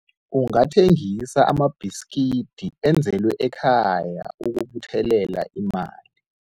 Ungathengisa amabhiskidi enzelwe ekhaya ukubuthelela imali.